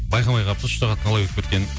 байқамай қалыппыз үш сағат қалай өтіп кеткенін